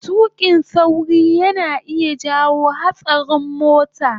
tuƙin sauri yana iya jawo hatsarin mota